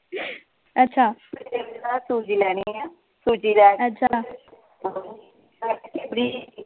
ਸੂਜੀ ਲੈਣੀ ਹੈ ਸੂਜੀ ਲੈ ਕੇ